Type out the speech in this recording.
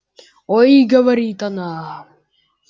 ой говорит она